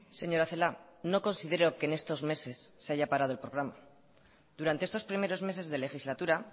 señora celaá no considero que en estos meses se haya parado el programa durante estos primeros meses de legislatura